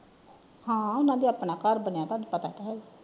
ਹਾਂ ਨਾਲੇ ਆਪਣਾ ਘਰ ਬਣਿਆ ਤੈਨੂੰ ਪਤਾ ਤੇ ਹੈ ਹੀ ਆ।